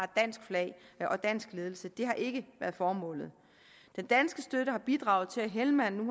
dansk flag og dansk ledelse det har ikke været formålet den danske støtte har bidraget til at helmand nu